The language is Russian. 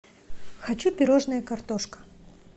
хочу пирожное картошка